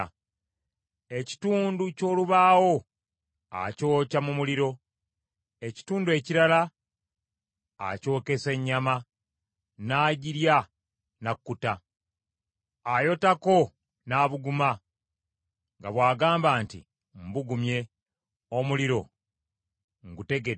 Ekitundu ky’olubaawo akyokya mu muliro, ekitundu ekirala akyokesa ennyama n’agirya n’akutta. Ayotako n’abuguma nga bw’agamba nti, “Mbugumye, omuliro ngutegedde!”